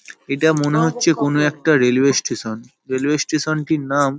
এটা মনে হচ্ছে কোনো একটা রেলওয়ে স্টেশন । রেলওয়ে স্টেশন -টির নাম --